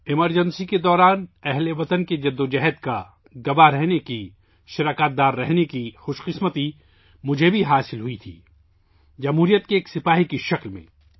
emergency کے دوران، ہم وطنوں کی جدوجہد کا، گواہ رہنے کا، شراکت دار رہنے کا اعزاز مجھے بھی حاصل ہوا جمہوریت کے ایک سپاہی کے طور پر